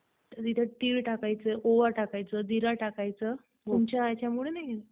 आणि मग आपली जमीन कस तसा आहे का चारा लावण्यासारखं कशी जमीन आहे आपली ?